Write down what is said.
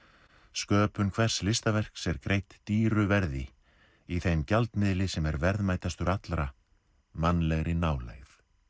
sköpun hvers listaverks er greidd dýru verði í þeim gjaldmiðli sem er verðmætastur allra mannlegri nálægð